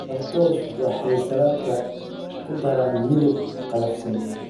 Croutons waxay saladka ku daraan midab qallafsan.